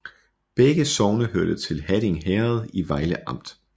Begge sogne hørte til Hatting Herred i Vejle Amt